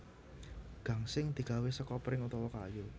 Gangsing digawé seka pring utawa kayu